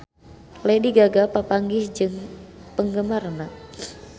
Lady Gaga papanggih jeung penggemarna